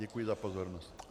Děkuji za pozornost.